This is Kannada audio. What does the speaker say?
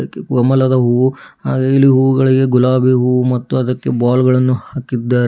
ಕಮಲದ ಹೂವು ಹಾಗೆ ಇಲ್ಲಿ ಹೂಗಳಿಗೆ ಗುಲಾಬಿ ಹೂ ಮತ್ತು ಅದಕ್ಕೆ ಬಾಲ್ ಗಳನ್ನು ಹಾಕಿದ್ದಾರೆ.